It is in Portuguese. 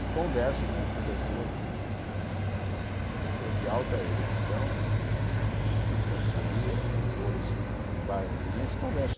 E converso com com pessoas, com pessoas de alta erudição, de de de grande categoria, doutores em várias ciências, converso.